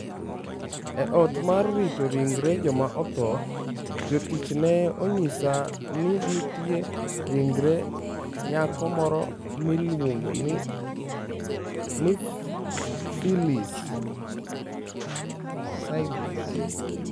E ot mar rito ringre joma otho, jotich ne onyisa ni nitie ringre nyako moro miluongo ni Phylis.